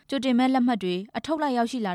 ကြိုတင်မဲလက်မှတ်တွေ အထုပ်လိုက် ရောက်ရှိလာ